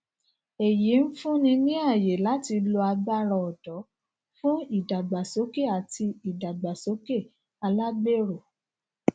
èyí n fúnni ní ayé láti lo agbára ọdọ fún ìdàgbàsókè àti ìdàgbàsókè alágbèrò